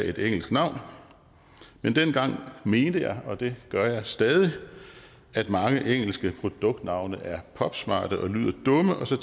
et engelsk navn men dengang mente jeg og det gør jeg stadig at mange engelske produktnavne er popsmarte og lyder dumme og så